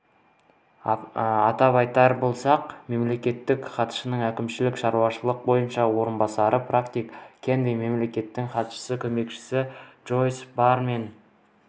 атап айтар болсақ мемлекеттік хатшының әкімшілік-шаруашылық бойынша орынбасары патрик кеннеди мемлекеттік хатшының көмекшілері джойс барр мен